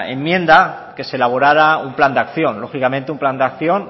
enmienda que se elaborara un plan de acción lógicamente un plan de acción